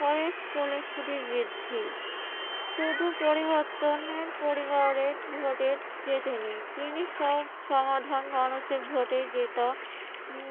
পরে স্কুলের ছুটি বৃদ্ধি। শুধু পরিবর্তনের পরিবারের ভোটে জেতেনি, তিনি সব সমাধান মানুষের ভোটে জেতা